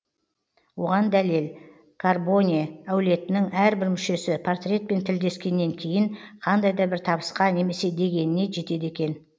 оған дәлел карбоне әулетінің әрбір мүшесі портретпен тілдескеннен кейін қандай да бір табысқа немесе дегеніне жетеді екен